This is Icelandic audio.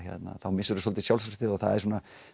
þá missir þú svolítið sjálfstraustið og það er svona